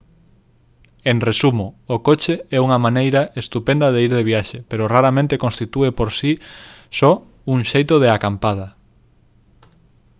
en resumo o coche é unha maneira estupenda de ir de viaxe pero raramente constitúe por si só un xeito de «acampada»